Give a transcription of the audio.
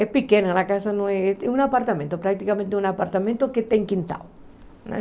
É pequena, a casa não é... É um apartamento, praticamente um apartamento que tem quintal, né?